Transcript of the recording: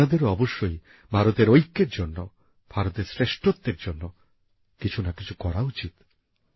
আপনাদেরও অবশ্যই ভারতের ঐক্যের জন্য ভারতের শ্রেষ্ঠত্বের জন্য কিছু না কিছু করা উচিত